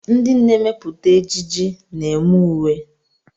Ndị na-emepụta ejiji na-eme uwe.